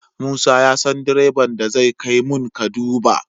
Musa ya san direban da zai kai mun kaduba